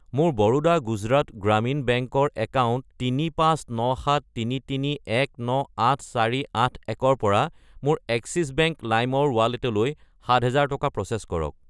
মোৰ বৰোডা গুজৰাট গ্ৰামীণ বেংক ৰ একাউণ্ট 359733198481 ৰ পৰা মোৰ এক্সিছ বেংক লাইম ৰ ৱালেটলৈ 7000 টকা প্ৰ'চেছ কৰক।